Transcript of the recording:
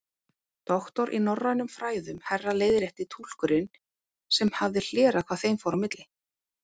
Doktor í norrænum fræðum, herra leiðrétti túlkurinn sem hafði hlerað hvað þeim fór á milli.